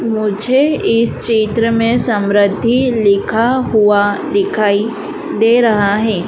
मुझे इस चित्र में समृद्धि लिखा हुआ दिखाई दे रहा है।